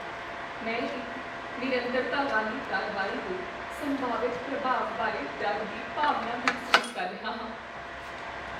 ਮੈਂ ਇੱਕ ਨਿਰੰਤਰਤਾ ਵਾਲੀ ਕਾਰਵਾਈ ਦੇ ਸੰਭਾਵਿਤ ਪ੍ਰਭਾਵ ਬਾਰੇ ਡਰ ਦੀ ਭਾਵਨਾ ਮਹਿਸੂਸ ਕਰ ਰਿਹਾ ਹਾਂ।